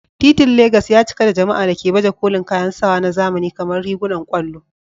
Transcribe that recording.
Titin Legas ya cika da jama'a da ke baje kolin kayan sawa na zamani kamar rigunan ƙwallo.